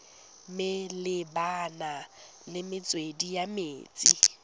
malebana le metswedi ya metsi